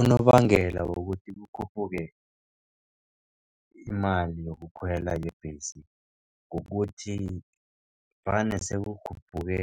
Unobangela wokuthi kukhuphuke imali yokukhwela yebhesi kukuthi vane sekukhuphuke